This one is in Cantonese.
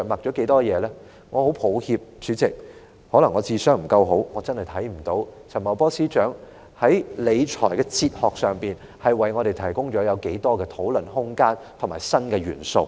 代理主席，我很抱歉，可能我的智商不夠高，我真的看不到陳茂波司長在理財哲學方面，為我們提供了多少討論空間和新元素。